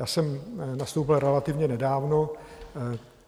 Já jsem nastoupil relativně nedávno.